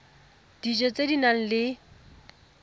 dijo tse di nang le